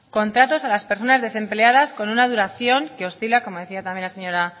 contratos a las personas desempleadas con una duración que oscila como decía también la señora